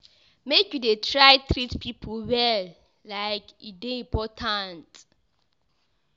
Make you dey try treat pipo well, like e dey important.